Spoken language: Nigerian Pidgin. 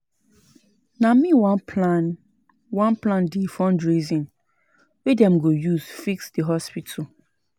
Na me wan plan wan plan di fundraising wey dem go use fix di hospital.